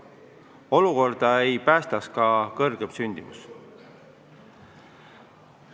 Olukorda ei päästaks ka kõrgem sündimus.